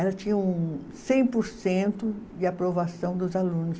Ela tinha um cem por cento de aprovação dos alunos.